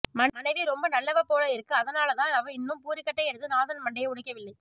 மனைவி ரொம்ப நல்லவ போல இருக்கு அதுனாலதான் அவ இன்னும் பூரிக்கட்டையை எடுத்து நாதன் மண்டையை உடைக்கவில்லை